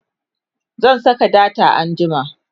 zan Saka data anjima